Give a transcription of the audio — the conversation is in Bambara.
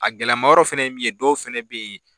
A gɛlɛma yɔrɔ fɛnɛ ye min ye ,dɔw fɛnɛ be yen